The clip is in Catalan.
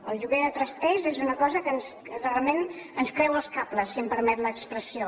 el lloguer de trasters és una cosa que realment ens creua els cables si em permet l’expressió